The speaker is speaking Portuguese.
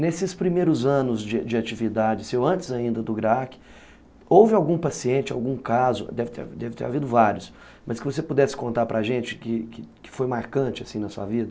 Nesses primeiros anos de de atividade, antes ainda do GRAAC, houve algum paciente, algum caso, deve deve ter havido vários, mas que você pudesse contar pra gente que foi marcante assim na sua vida?